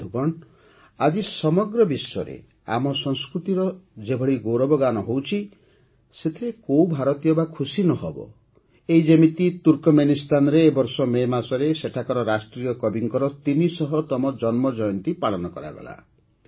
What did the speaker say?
ବନ୍ଧୁଗଣ ଆଜି ସମଗ୍ର ବିଶ୍ୱରେ ଆମ ସଂସ୍କୃତିର ଯେଭଳି ଗୌରବଗାନ ହେଉଛି ସେଥିରେ କୋଉ ଭାରତୀୟ ବା ଖୁସି ନ ହେବ ଏଇ ଯେମିତି ତୁର୍କମେନିସ୍ତାନରେ ଏ ବର୍ଷ ମେ ମାସରେ ସେଠାକାର ରାଷ୍ଟ୍ରୀୟ କବିଙ୍କ ୩୦୦ତମ ଜନ୍ମ ଜୟନ୍ତୀ ପାଳନ କରାଗଲା